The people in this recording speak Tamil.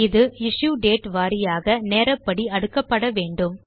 இது இஷ்யூ டேட் வாரியாக நேரப்படி அடுக்கப்பட வேண்டும்